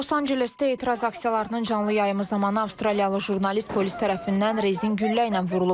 Los Ancelesdə etiraz aksiyalarının canlı yayımı zamanı Avstraliyalı jurnalist polis tərəfindən rezin güllə ilə vurulub.